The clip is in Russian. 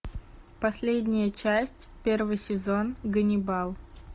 последняя часть первый сезон ганнибал